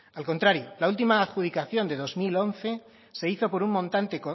al contrario la última adjudicación de dos mil once se hizo por un montante